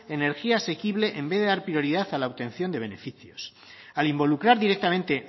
energía asequible en vez de dar prioridad a la obtención de beneficios al involucrar directamente